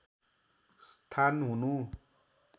स्थान हुनु